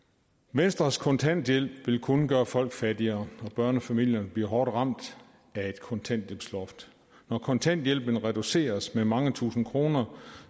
venstres kontanthjælp vil kun gøre folk fattigere og børnefamilierne bliver hårdt ramt af et kontanthjælpsloft når kontanthjælpen reduceres med mange tusind kroner